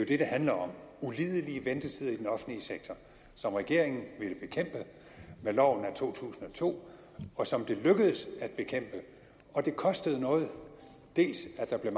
det det handler om ulidelige ventetider i den offentlige sektor som regeringen ville bekæmpe med loven af to tusind og to og som det lykkedes at bekæmpe og det kostede noget dels at der blev